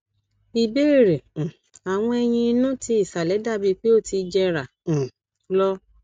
ìbéèrè um awọn eyín inú ti ìsàlẹ dabi pe o ti ń jera um lo